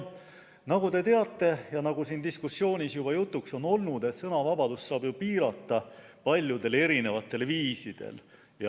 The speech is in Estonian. Nagu te teate ja nagu siin diskussioonis juba jutuks on olnud, saab sõnavabadust piirata paljudel erisugustel viisidel.